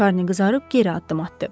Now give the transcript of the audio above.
Şarni qızarıb geri addım atdı.